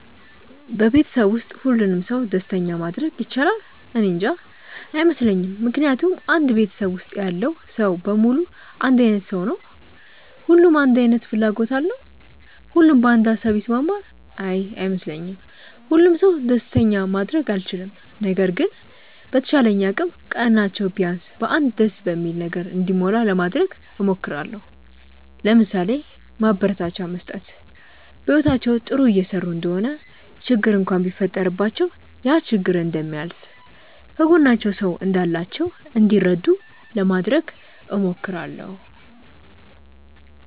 በቤተሰብ ውስጥ ሁሉንም ሰው ደስተኛ ማድረግ ይቻላል? እኔንጃ። አይመስለኝም ምክንያቱም አንድ ቤተሰብ ውስጥ ያለው ሰው በሙሉ አንድ አይነት ሰው ነው? ሁሉም አንድ አይነት ፍላጎት አለው? ሁሉም በአንድ ሃሳብ ይስማማል? አይ አይመስለኝም። ሁሉንም ሰው ደስተኛ ማድረግ አልችልም። ነገር ግን በተቻለኝ አቅም ቀናቸው ቢያንስ በ አንድ ደስ በሚል ነገር እንዲሞላ ለማድረግ እሞክራለው። ለምሳሌ፦ ማበረታቻ መስጠት፣ በህይወታቸው ጥሩ እየሰሩ እንደሆነ ችግር እንኳን ቢፈጠረባቸው ያ ችግር እንደሚያልፍ፣ ከጎናቸው ሰው እንዳላቸው እንዲረዱ ለማድረግ እሞክራለው።